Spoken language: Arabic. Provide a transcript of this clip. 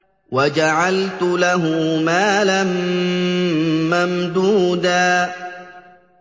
وَجَعَلْتُ لَهُ مَالًا مَّمْدُودًا